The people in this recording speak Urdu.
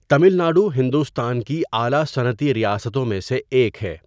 تمل ناڈو ہندوستان کی اعلیٰ صنعتی ریاستوں میں سے ایک ہے۔